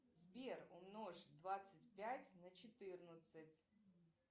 сбер умножь двадцать пять на четырнадцать